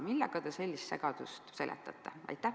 Millega te sellist segadust seletate?